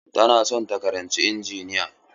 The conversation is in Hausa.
Tana son ta karanci injiniya.